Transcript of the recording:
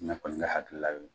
Ne kɔni ka hakilila ye o ye.